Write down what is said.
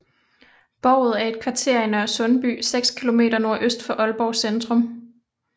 Bouet er et kvarter i Nørresundby seks kilometer nordøst for Aalborg Centrum